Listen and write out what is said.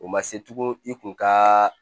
O ma se tugun i kun ka